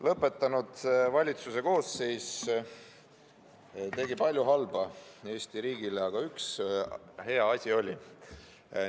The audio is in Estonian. Lõpetanud valitsuse koosseis tegi Eesti riigile palju halba, aga üks hea asi oli siiski ka.